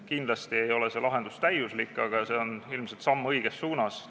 Kindlasti ei ole see lahendus täiuslik, aga see on ilmselt samm õiges suunas.